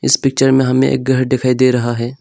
इस पिक्चर में हमें एक घर दिखाई दे रहा है।